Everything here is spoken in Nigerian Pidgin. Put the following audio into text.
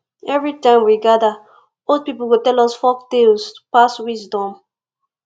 every time we gather old people go tell us folktales to pass wisdom